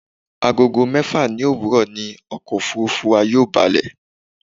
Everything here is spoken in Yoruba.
Agogo mẹ́fà ní òwúrọ̀ ni ọkọ̀ òfurufú wa yóò balẹ̀